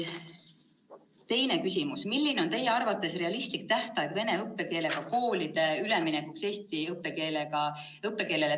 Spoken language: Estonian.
Teine küsimus: "Milline on teie arvates realistlik tähtaeg vene õppekeelega koolide üleminekuks eesti õppekeelele Tallinnas?